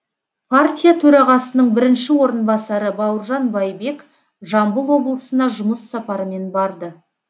партия төрағасының бірінші орынбасары бауыржан байбек жамбыл облысына жұмыс сапарымен барды